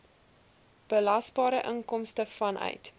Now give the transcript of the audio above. belasbare inkomste vanuit